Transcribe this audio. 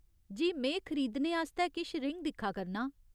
जी, में खरीदने आस्तै किश रिङ दिक्खा करनां ।